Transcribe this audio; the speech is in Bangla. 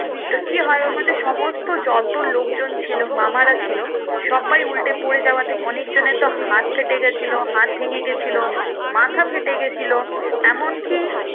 তো কি হয়ে ওর মধ্যে সমস্ত যত লোক জন ছিলো মামারা ছিলো সবাই উল্টে পরে যাওয়াতে অনেক জনের তো হাত কেটে গেছিলো হাত ভেঙে গেছিলো মাথা ফেটে গেছিলো